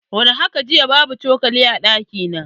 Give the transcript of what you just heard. War haka jiya, babu cokali a ɗaki na.